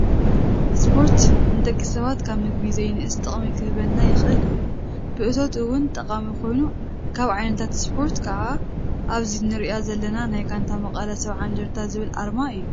ስፖርት ንደቂ ሰባት ካብ ምግቢ ዘይንእስ ጥቅሚ ክህበና ይክእል እዩ፣ ብእቶት እውን ጠቃሚ ኮይኑ ካብ ዓይነታት ስፖርት ከዓ ኣብዚ እንሪኣ ዘለና ናይ ጋንታ መቀለ 70እንደርታ ዝብል ኣርማ እዩ።